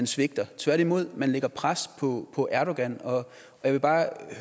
svigter tværtimod man lægger pres på erdogan jeg vil bare